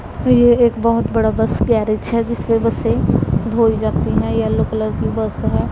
ये एक बहौत बड़ा बस गैरेज है जिसमें बसें धोई जाती हैं येलो कलर की है।